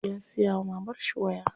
Ya siya wa mamarshi waya.